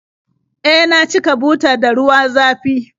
E, na cika butar da ruwa zafi